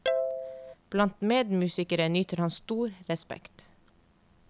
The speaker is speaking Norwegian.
Blant medmusikere nyter han stor respekt.